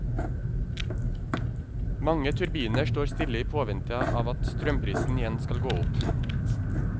Mange turbiner står stille i påvente av at strømprisen igjen skal gå opp.